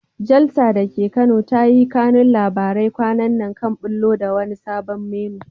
Jalsa da ke Kano ta yi kanun labarai kwanan nan kan ɓullo da wani sabon menu.